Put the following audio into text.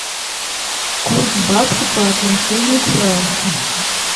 курс бакса по отношению к франку